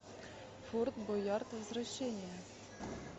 форт боярд возвращение